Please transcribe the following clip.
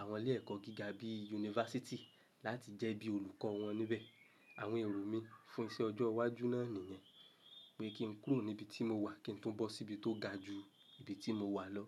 àwọn ilé ẹ̀kọ́ gíga bíi yunifásítì láti jẹ́ bí olùkọ́ wọn níbẹ̀. Àwọn èrò mi fún iṣẹ́ ọjọ́ iwájú náà nìyẹn, pé kí ń kúrò níbi tí mo wà kí ń tún bọ́ síbi tó ga ju ibi tí mo wà lọ.